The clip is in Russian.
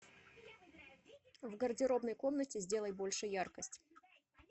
в гардеробной комнате сделай больше яркость